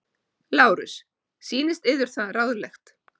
LÁRUS: Sýnist yður það ráðlegt?